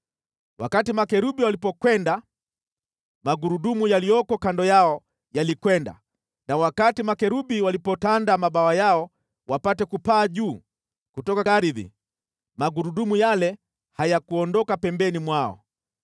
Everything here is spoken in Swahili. Wakati makerubi walipokwenda, magurudumu yaliyoko kando yao yalikwenda na wakati makerubi walipotanda mabawa yao wapate kupaa juu kutoka ardhi, magurudumu yale hayakuondoka pembeni mwao.